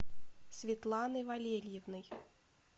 светланой валерьевной